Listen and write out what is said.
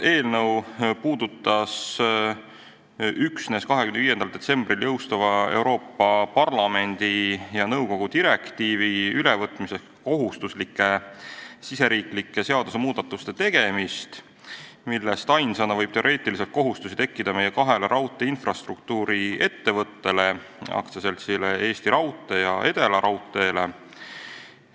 Eelnõu puudutas üksnes 25. detsembril jõustuva Euroopa Parlamendi ja nõukogu direktiivi ülevõtmise kohustuslike riigisiseste seadusmuudatuste tegemist, millest ainsana võib teoreetiliselt kohustusi tekkida meie kahele raudteeinfrastruktuuri ettevõttele: AS Eesti Raudtee ja Edelaraudtee.